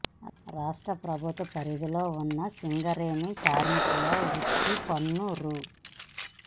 రాష్ట్ర ప్రభుత్వం పరిధిలో ఉన్న సింగరేణి కార్మికుల వృత్తి పన్ను రూ